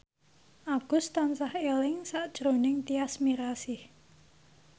Agus tansah eling sakjroning Tyas Mirasih